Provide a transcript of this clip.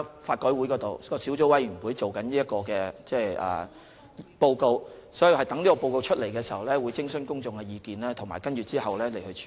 法改會轄下小組委員現正進行研究，待發表報告後，我們會徵詢公眾的意見，其後會再作處理。